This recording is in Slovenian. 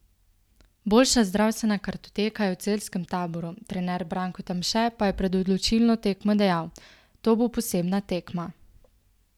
Boljša zdravstvena kartoteka je v celjskem taboru, trener Branko Tamše pa je pred odločilno tekmo dejal: "To bo posebna tekma.